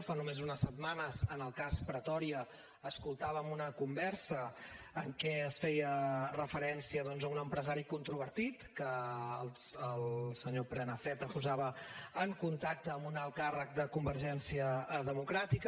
fa només unes setmanes en el cas pretòria escoltàvem una conversa en què es feia referència doncs a un empresari controvertit que el senyor prenafeta posava en contacte amb un alt càrrec de convergència democràtica